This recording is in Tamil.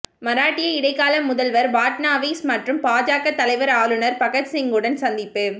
மராட்டிய இடைக்கால முதல்வர் பட்னாவிஸ் மற்றும் பாஜக தலைவர்கள் ஆளுநர் பகத்சிங்குடன் சந்திப்பு